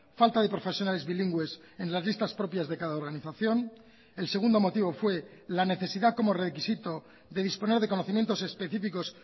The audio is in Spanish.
falta de profesionales bilingües en las listas propias de cada organización el segundo motivo fue la necesidad como requisito de disponer de conocimientos específicos